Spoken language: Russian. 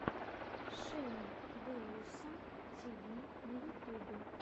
шейн доусон ти ви на ютюбе